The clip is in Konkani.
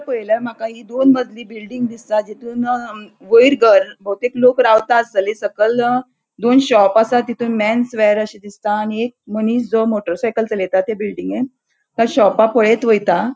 पयल्यार माका हि दोन मजली बिल्डिंग दिसता. जीतून वैर घर बहुतेक लोक रावता आस्तलि सकल दोन शॉप असा. तितुन मेन्स वेर अशे दिसता. एक मनिस जो मोटर साइकल चलयता ते बिल्डिंगेन शोपा पळेत वयता.